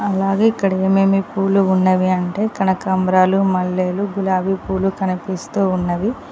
అలాగే ఇక్కడ ఏమేమి పూల ఉన్నావి అంటే కనకాంబరాలు మల్లెలు గులాబీ పూలు కనిపిస్తూ ఉన్నవి.